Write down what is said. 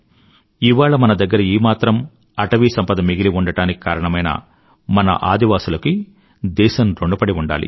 ఇవాళ మన దగ్గర ఈమాత్రం అటవీ సంపద మిగిలి ఉండడానికి కారణమైన మన ఆదివాసులకి దేశం ఋణపడి ఉండాలి